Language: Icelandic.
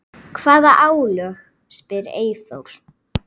Hvaða álögur? spyr Eyþór.